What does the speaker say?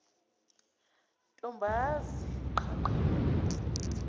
ntombazi qha qha